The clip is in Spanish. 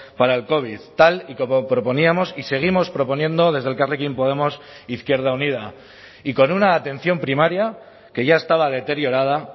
para el covid tal y como proponíamos y seguimos proponiendo desde elkarrekin podemos izquierda unida y con una atención primaria que ya estaba deteriorada